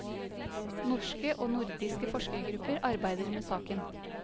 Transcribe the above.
Norske og nordiske forskergrupper arbeider med saken.